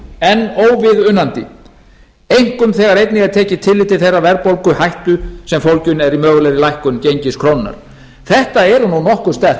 enn óviðunandi einkum þegar einnig er tekið tillit til þeirrar verðbólguhættu sem fólgin er í mögulegri lækkun gengis krónunnar þetta eru nokkuð sterk